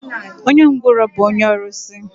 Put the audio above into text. Onye ngwụrọ bụ onye ọrụsị.